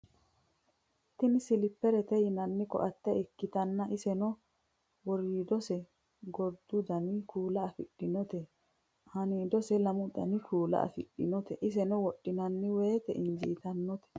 Tinni siliperette yinani ko'atte ikkittana iseno woriddose goriddu Dani kuula afidhinote aaniddose lamu danni kuula afidhinote iseno wodhinanni woyite injittanote